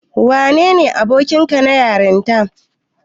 Wanene abokinka na yarinta?